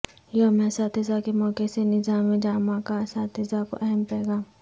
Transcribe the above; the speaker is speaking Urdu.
یوم اساتذہ کے موقع سےناظم جامعہ کااساتذہ کو اہم پیغام